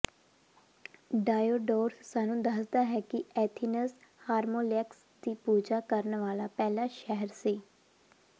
Diodorus ਸਾਨੂੰ ਦੱਸਦਾ ਹੈ ਕਿ ਐਥਿਨਜ਼ ਹਾਰਮੂਲੇਕਸ ਦੀ ਪੂਜਾ ਕਰਨ ਵਾਲਾ ਪਹਿਲਾ ਸ਼ਹਿਰ ਸੀ